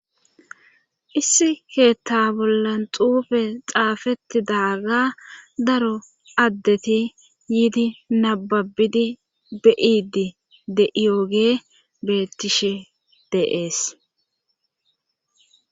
Issi keetta bollan xuufe xaafettidaaga daro addeti yiidi nababidi be7idi de7iyoge bettishe de'ees